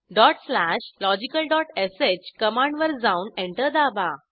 logicalsh कमांडवर जाऊन enter दाबा